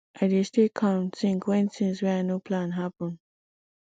i dey stay calm tink wen tins wey i no plan happen